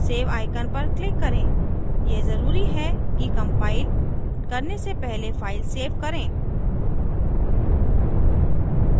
save icon पर click करें यह जरूरी है कि कम्पाइल करने से पहले फ़ाइल सेव करें